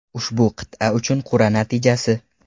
Ushbu qit’a uchun qur’a natijasi.